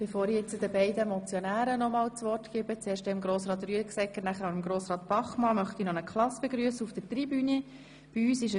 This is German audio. Bevor ich den beiden Motionären nochmals das Wort erteile, möchte ich noch eine Klasse auf der Tribüne begrüssen.